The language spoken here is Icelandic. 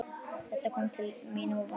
Þetta kom til mín óvænt.